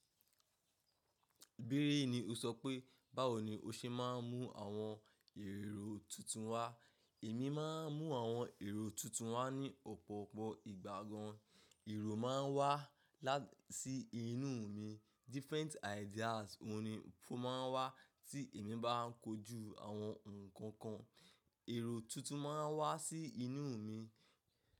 Bírí ni o sọ pé, báwo ni o ṣe máa ń mú àwọn èrò tuntun wá. Èmi máa ń mú àwọn èrò tuntun wá ní ọ̀pọ̀pọ̀ ìgbà gan. Èrò máa ń wá láti inú mi. Different ideas mo ni o máa ń wá tí èmi bá ń kojú àwọn nǹkan kan. Èrò tuntun máa n wá sí inú mi.